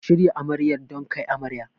Ku shirya Amaryar don kai amarya.